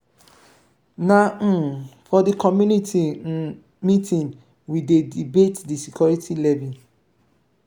na um for di community um meeting we dey debate di security levy.